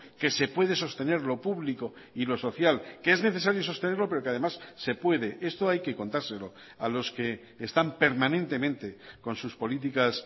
que se puede sostener lo público y lo social que es necesario sostenerlo pero que además se puede esto hay que contárselo a los que están permanentemente con sus políticas